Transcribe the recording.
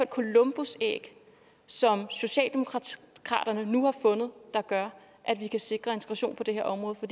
columbusæg som socialdemokraterne nu har fundet der gør at vi kan sikre integration på det her område for